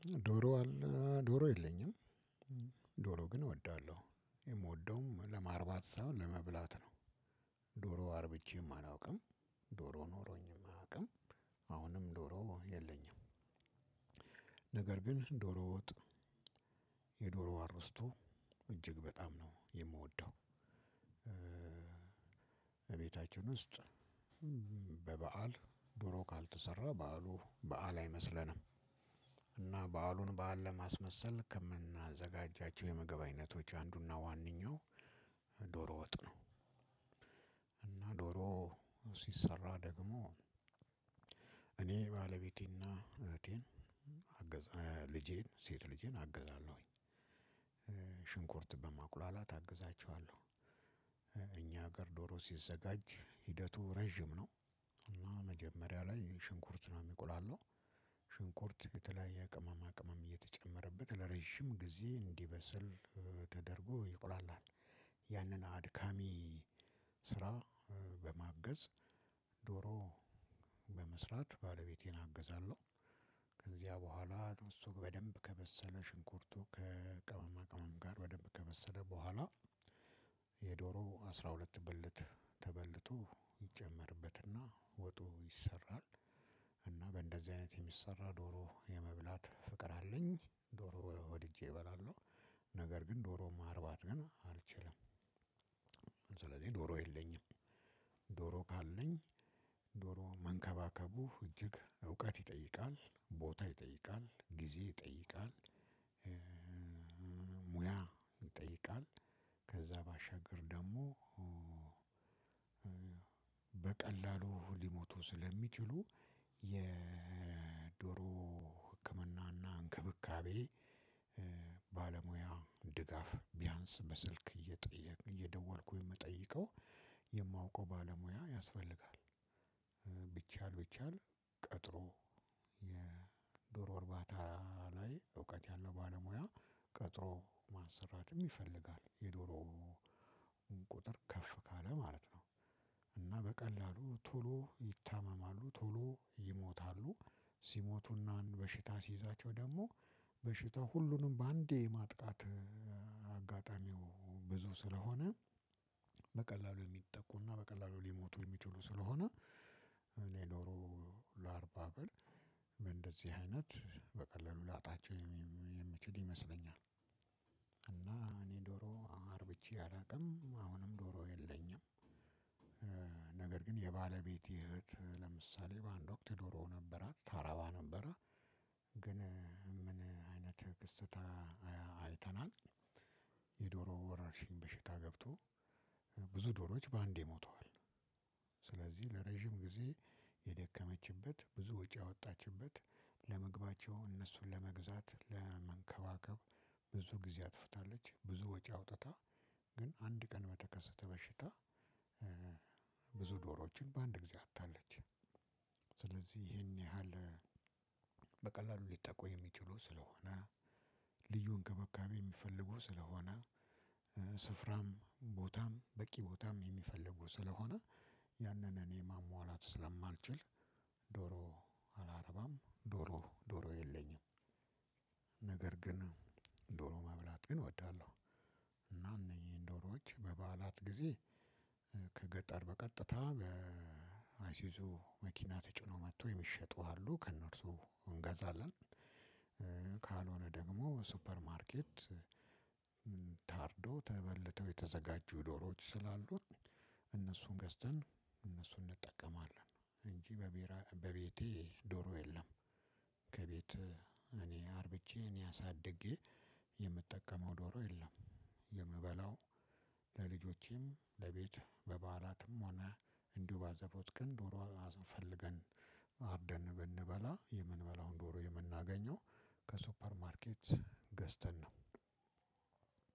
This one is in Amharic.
ዶሮ አለ ዶሮ የለኝም ዶሮ ግን እወዳለሁ የምወደውም ለማርባት ሳይሆን ለመብላት ነው። ዶሮ አርብቼም አላውቅም። ዶሮ ኖሮኝም አያውቅም። አሁንም ዶሮ የለኝም። ነገር ግን ዶሮ ወጥ። የዶሮ አርስቶ እጅግ በጣም ነው የምወደው። እቤታችን ውስጥ በበዓል ዶሮ ካልተሰራ በዓሉ በዓል አይመስለንም። እና በዓሉን በዓል ለማስመሰል ከምናዘጋጃቸው የምግብ አይነቶች አንዱ እና ዋነኛው ዶሮ ወጥ ነው። እና ዶሮ ሲሰራ ደግሞ እኔ ባለቤቴን እና እህቴን ልጄን ሴት ልጄን አግዛለሁኝ። ሽንኩርት በማቁላላት አግዛቸዋለሁ። እኛ ሀገር ዶሮ ሲዘጋጅ ሂደቱ ረዥም ነው። እና መጀመሪያ ላይ ሽንኩርት ነው የሚቆላላው። ሽንኩርት የተለያየ ቅመማ ቅመም እየተጨመረበት ለረጅም ጊዜ እንዲበሰል ተደርጎ ይቁላላል። ያንን አድካሚ ስራ በማገዝ ዶሮ በመስራት ባለቤቴን አግዛለሁ። ከዚያ በኋላ ጥብሱ በደንብ ከበሰለ ሽንኩርቱ ከቅመማ ቅመም ጋር በደንብ ከበሰለ በኋላ የዶሮ አስራ ሁለት ብልት ተበልቶ ይጨመርበትና ወጡ ይሰራል። እና በእንደዚህ አይነት የሚሰራ ዶሮ የመብላት ፍቅር አለኝ ዶሮ ወድጄ እበላለሁ። ነገር ግን ዶሮ ማርባት ግን አልችልም። ስለዚህ ዶሮ የለኝም። ዶሮ ካለኝ ዶሮ መንከባከቡ እጅግ እውቀት ይጠይቃል ቦታ ይጠይቃል ጊዜ ይጠይቃል። ሙያ ይጠይቃል። ከዛ ባሻገር ደግሞ በቀላሉ ሊሞቱ ስለሚችሉ የዶሮ ህክምናና እንክብካቤ ባለሙያ ድጋፍ ቢያንስ በስልክ እየጠየቅኩ እየደወልኩ የምጠይቀው የማውቀው ባለሙያ ያስፈልጋል። ቢቻል ቢቻል ቀጥሮ የዶሮ እርባታ ላይ እውቀት ያለው ባለሙያ ቀጥሮ ማሰራትም ይፈልጋል የዶሮ ቁጥር ከፍ ካለ ማለት ነው። እና በቀላሉ ቶሎ ይታመማሉ ቶሎ ይሞታሉ። ሲሞቱና በሽታ ሲይዛቸው ደግሞ በሽታው ሁሉንም በአንዴ የማጥቃት አጋጣሚው ብዙ ስለሆነ በቀላሉ የሚጠቁና በቀላሉ ሊሞቱ የሚችሉ ስለሆነ። እኔ ዶሮ ላርባ ብል በንደዚህ አይነት በቀላሉ ላጣቸው የምችል ይመስለኛል። እና እኔ ዶሮ አርብቼ አላውቅም አሁንም ዶሮ የለኝም። ነገር ግን የባለቤቴ እህት ለምሳሌ በአንድ ወቅት ዶሮ ነበራት ታረባ ነበረ። ግን ምን አይነት ክስተት አይተናል። የዶሮ ወረርሽኝ በሽታ ገብቶ ብዙ ዶሮዎች በአንዴ ሞተዋል። ስለዚህ ለረጅም ጊዜ የደከመችበት ብዙ ወጪ ያወጣችበት ለምግባቸው እነሱን ለመግዛት ለመንከባከብ ብዙ ጊዜ አጥፍታለች። ብዙ ወጪ አውጥታ ግን አንድ ቀን በተከሰተ በሽታ ብዙ ዶሮዎችን በአንድ ጊዜ አጣች። ስለዚህ ይሄን ያህል በቀላሉ ሊጠቁ የሚችሉ ስለሆነ ልዩ እንክብካቤ የሚፈልጉ ስለሆነ ስፍራም ቦታም በቂ ቦታም የሚፈልጉ ስለሆነ ያንን እኔ ማሟላት ስለማልችል ዶሮ አላረባም ዶሮ ዶሮ የለኝም። ነገር ግን ዶሮ መብላት ግን እወዳለሁ። እነዚህን ዶሮዎች በበዓላት ጊዜ ከገጠር በቀጥታ በአሱዙ መኪና ተጭኖ መጥቶ የሚሸጡ አሉ ከእነርሱ እንገዛለን። ካልሆነ ደግሞ ሱፐርማርኬት ታርዶ ተበልቶ የተዘጋጁ ዶሮዎች ስላሉ እነሱን ገዝተን እነሱን እንጠቀማለን። እንጂ በቤቴ ዶሮ የለም። ከቤት እኔ አርብቼ እኔ አሳድጌ የምጠቀመው ዶሮ የለም። የምበላው ለልጆቼም ለቤት ለበአላትም ሆነ በአዘቦት ቀን ዶሮ ፈልገን ነው አርደን ብንበላ የምንበላውን ዶሮ የምናገኘው ከሱፐር ማርኬት ገዝተን ነው።